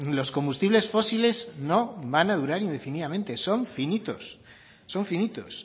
los combustibles fósiles no van a durar indefinidamente son finitos son finitos